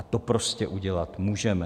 A to prostě udělat můžeme.